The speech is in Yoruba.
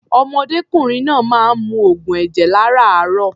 Ọ̀mọdékùnrin náà máa ń mu oògùn ẹ̀jẹ̀ lárààárọ̀.